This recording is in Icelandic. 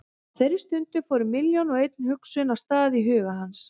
Á þeirri stundu fóru milljón og ein hugsun af stað í huga hans.